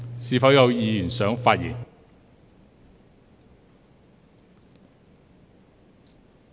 是否有委員想發言？